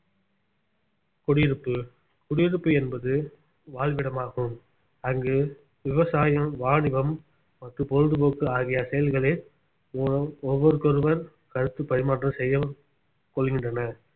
குடியிருப்பு குடியிருப்பு என்பது வாழ்விடமாகும் அங்கு விவசாயம் வாணிபம் மற்றும் பொழுதுபோக்கு ஆகிய செயல்களின் மூலம் ஒவ்வொருக்கொருவர் கருத்து பரிமாற்றம் செய்யவும் கொள்கின்றனர்